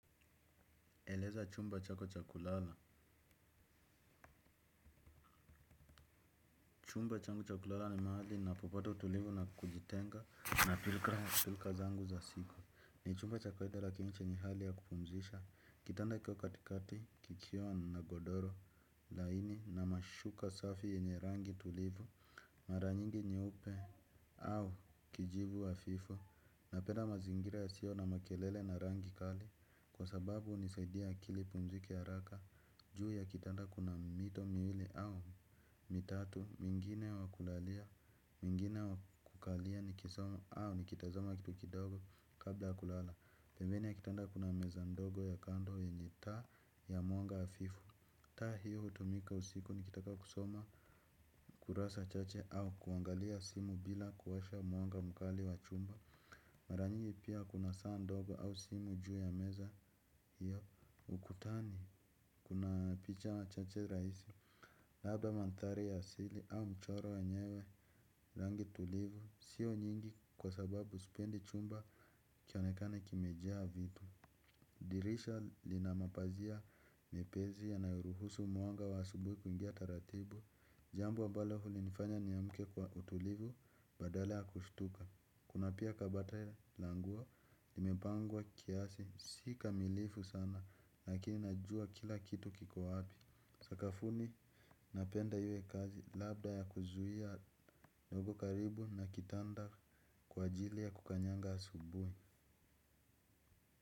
Eleza chumba chako cha kulala. Chumba changu cha kulala ni mahali ninapopata utulivu na kujitenga na pilika zangu za siku. Ni chumba cha kawaida lakini chenye hali ya kupumzisha. Kitanda kiko katikati kikiwa na godoro laini na mashuka safi yenye rangi tulivu. Mara nyingi nyeupe au kijivu hafifu. Napenda mazingira yasiyo na makelele na rangi kali, kwa sababu hunisaidia akili ipumzike haraka. Juu ya kitanda kuna mito miwili au mitatu, mwingine wa kulalia, mwingine wa kukalia nikisoma au nikitazama kitu kidogo kabla ya kulala. Pembeni ya kitanda kuna meza ndogo ya kando yenye taa ya mwanga hafifu. Taa hiyo hutumika usiku nikitaka kusoma kurasa chache au kuangalia simu bila kuwasha mwanga mkali wa chumba. Mara nyingi pia kuna saa ndogo au simu juu ya meza hiyo. Ukutani kuna picha chache rahisi. Labda mandhari ya asili au mchoro ya wenyewe, rangi tulivu siyo nyingi kwa sababu sipendi chumba kionekane kimejaa vitu. Dirisha lina mapazia mepesi yanayoruhusu mwanga wa asubuhi kuingia taratibu. Jambu ambalo hunifanya niamke kwa utulivu badala ya kustuka. Kuna pia kabati la nguo limepangwa kiasi. Si kamilifu sana, lakini najua kila kitu kiko wapi. Sakafuni, napenda iwe kazi, labda ya kuzuia ndogo karibu na kitanda kwa ajili ya kukanyaga asubuhi.